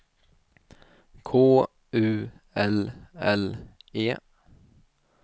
K U L L E